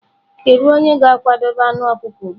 Kedu onye ga-akwadebe anụ ọkụkọ ugbu a?